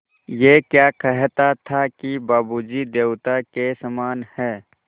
ऐं क्या कहता था कि बाबू जी देवता के समान हैं